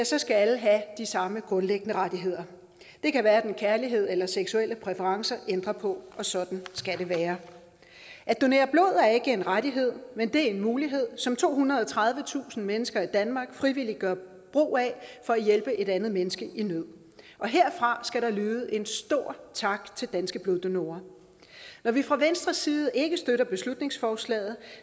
så skal alle have de samme grundlæggende rettigheder det kan hverken kærlighed eller seksuelle præferencer ændre på og sådan skal det være at donere blod er ikke en rettighed men det er en mulighed som tohundrede og tredivetusind mennesker i danmark frivilligt gør brug af for at hjælpe et andet menneske i nød og herfra skal der lyde en stor tak til danske bloddonorer når vi fra venstres side ikke støtter beslutningsforslaget